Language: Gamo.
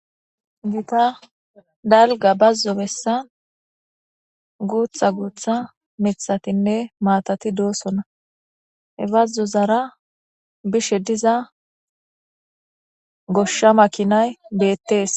gita dalga bazzo bessa guutha guutha mithatinne maatati doosona hebbazzo zara bishe diza goshsha makinay beettees